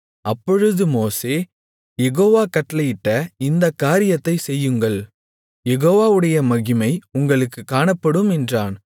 அப்பொழுது மோசே யெகோவா கட்டளையிட்ட இந்தக் காரியத்தைச் செய்யுங்கள் யெகோவாவுடைய மகிமை உங்களுக்குக் காணப்படும் என்றான்